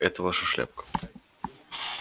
это ваша шляпка